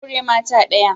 Aure mata daya.